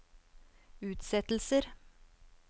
utsettelser